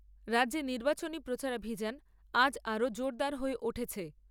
রাজ্যে নির্বাচনী প্রচারাভিযান আজ আরো জোরদার হয়ে উঠেছে।